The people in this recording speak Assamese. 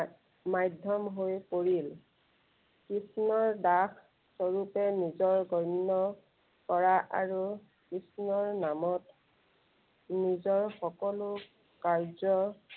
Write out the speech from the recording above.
মাধ্য়ম হৈ পৰিল। কৃষ্ণৰ দাস স্বৰূপে নিজৰ গন্য় কৰা আৰু কৃষ্ণৰ নামত নিজৰ সকলো কাৰ্য